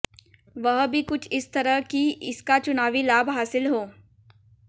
वह भी कुछ इस तरह कि इसका चुनावी लाभ हासिल हो